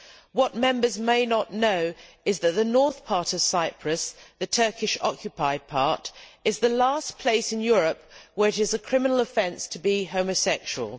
What Members may not know is that the northern part of Cyprus, the Turkish occupied part, is the last place in Europe where it is a criminal offence to be homosexual.